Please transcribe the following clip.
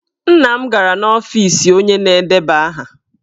Nna m gara n'ọfiisi onye na-edeba aha.